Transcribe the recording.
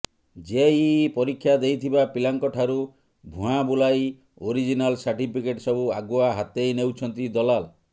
JEE ପରୀକ୍ଷା ଦେଇଥିବା ପିଲାଙ୍କଠାରୁ ଭୁଆଁ ବୁଲାଇ ଓରଜିନାଲ ସାର୍ଟିଫିକେଟ୍ ସବୁ ଆଗୁଆ ହାତେଇ ନେଉଛନ୍ତି ଦଲାଲ